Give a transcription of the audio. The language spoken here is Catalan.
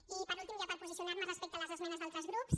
i per últim ja per posicionar me respecte a les esmenes d’altres grups